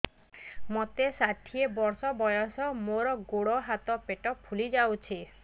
ମୋତେ ଷାଠିଏ ବର୍ଷ ବୟସ ମୋର ଗୋଡୋ ହାତ ପେଟ ଫୁଲି ଯାଉଛି